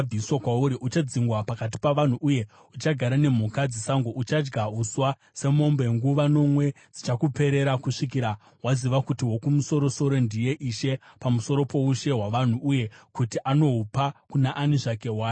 Uchadzingwa pakati pavanhu uye uchagara nemhuka dzesango; uchadya uswa semombe. Nguva nomwe dzichakuperera kusvikira waziva kuti Wokumusoro-soro ndiye Ishe pamusoro poushe hwavanhu uye kuti anohupa kuna ani zvake waanenge ada.”